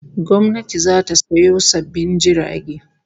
Gwamnati zata sayo sabbin jirage